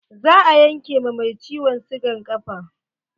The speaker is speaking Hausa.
Za a yanke ma mai ciwon sigan ƙafa.